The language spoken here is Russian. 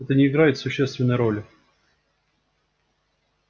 это не играет существенной роли